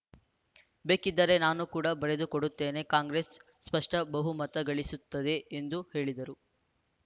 ಬೇಕಿದ್ದರೆ ನಾನು ಕೂಡ ಬರೆದುಕೊಡುತ್ತೇನೆ ಕಾಂಗ್ರೆಸ್‌ ಸ್ಪಷ್ಟಬಹುಮತ ಗಳಿಸುತ್ತದೆ ಎಂದು ಹೇಳಿದರು